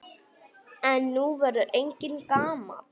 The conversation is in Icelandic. En nú verður enginn gamall.